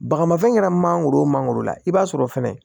Bagamafɛn kɛra mangoro wo mangoro la i b'a sɔrɔ fɛnɛ